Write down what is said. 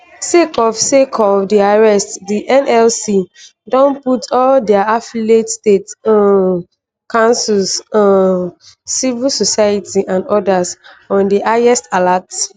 sake of sake of di arrest di nlc don put all dia affiliates state um councils um civil society and odas on di highest alert